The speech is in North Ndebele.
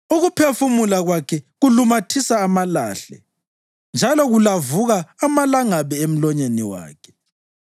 Ukuphefumula kwakhe kulumathisa amalahle, njalo kulavuka amalangabi emlonyeni wakhe.